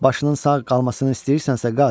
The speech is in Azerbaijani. Başının sağ qalmasını istəyirsənsə qaç.